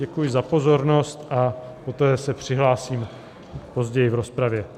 Děkuji za pozornost a poté se přihlásím později v rozpravě.